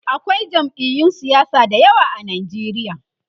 akwai jam'iyun siyasa da yawa a Nigeria